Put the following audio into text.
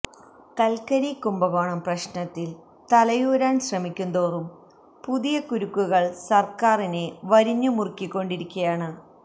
കല്ക്കരി കുഭകോണം പ്രശ്നത്തില് തലയൂരാന് ശ്രമിക്കുന്തോറും പുതിയ കുരുക്കുകള് സര്ക്കാറിനെ വരിഞ്ഞു മുറുക്കിക്കൊണ്ടിരിക്കയാണ്